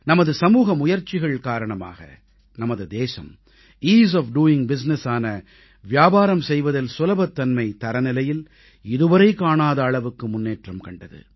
நமது சமூக முயற்சிகள் காரணமாக நமது தேசம் ஈஸ் ஒஃப் டோயிங் businessஆன வியாபாரம் செய்வதில் சுலபத்தன்மை தரநிலையில் இதுவரை காணாத அளவுக்கு முன்னேற்றம் கண்டது